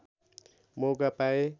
मौका पाए